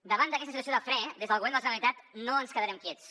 davant d’aquesta situació de fre des del govern de la generalitat no ens quedarem quiets